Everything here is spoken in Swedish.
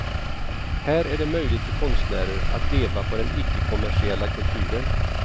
Här är det möjligt för konstnärer att leva på den ickekommersiella kulturen.